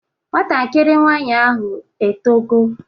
Nwatakịrị nwaanyị ahụ etogo?